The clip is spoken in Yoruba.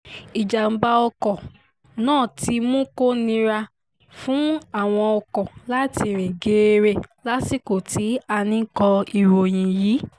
ìjàḿbà ọkọ̀ náà ti mú kó nira fún àwọn ọkọ̀ láti rìn geere lásìkò tí à ń kọ ìròyìn yìí